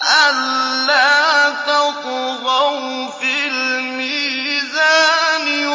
أَلَّا تَطْغَوْا فِي الْمِيزَانِ